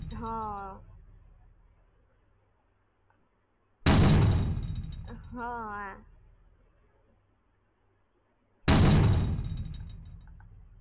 હા હવે શું કરીયે નહોતી ખબર તો નહોતી ખબર એટલે મેં કીધું જારી Information લૈલાઉ શું છે આ વસ્તુ કેવી રીતે કરવાની છે